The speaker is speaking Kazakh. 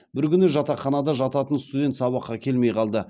бір күні жатақханада жататын студент сабаққа келмей қалды